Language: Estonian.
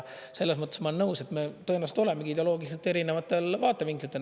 Selles mõttes ma olen nõus, et me tõenäoliselt olemegi ideoloogiliselt erinevatel vaatevinklitel.